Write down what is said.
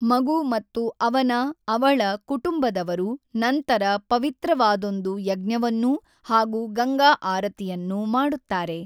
ಮಗು ಮತ್ತು ಅವನ/ಅವಳ ಕುಟುಂಬದವರು ನಂತರ ಪವಿತ್ರವಾದೊಂದು ಯಜ್ಞವನ್ನೂ ಹಾಗು ಗಂಗಾ ಆರತಿಯನ್ನು ಮಾಡುತ್ತಾರೆ.